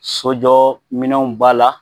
Sojɔminɛnw b'a la